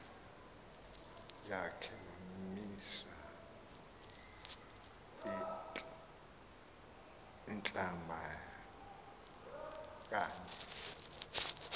yakhe wamisa iinhlabakanye